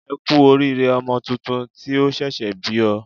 E kú oríire ọmọ tuntun tí o ṣẹ̀ṣẹ̀ bí o